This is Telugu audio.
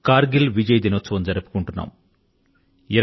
కర్ గిల్ విజయ్ దివస్ ఈనాడే